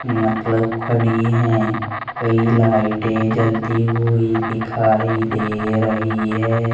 मतलब खड़ी है कई लाइटे जलती हुई दिखाई दे रही है।